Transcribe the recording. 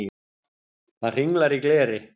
Það hringlar í gleri.